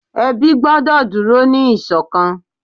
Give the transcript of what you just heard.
ebi gbọdọ dúró ni iṣọkan